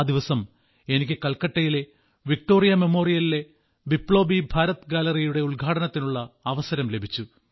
ആ ദിവസം എനിക്ക് കൽക്കട്ടയിലെ വിക്ടോറിയ മെമ്മോറിയലിലെ ബിപ്ലോബി ഭാരത് ഗാലറിയുടെ ഉദ്ഘാടനത്തിനുള്ള അവസരം ലഭിച്ചു